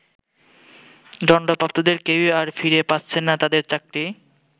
দন্ডপ্রাপ্তদের কেউই আর ফিরে পাচ্ছেন না তাদের চাকরি।